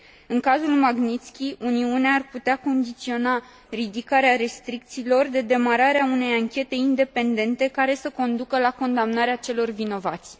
În cazul Magnițki, Uniunea ar putea condiționa ridicarea restricțiilor de demararea unei anchete independente, care să conducă la condamnarea celor vinovați.